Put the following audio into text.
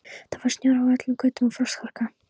Það var snjór á öllum götum og frostharka.